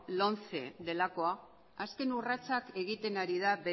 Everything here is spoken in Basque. lomce delakoa azken urratsak egiten ari da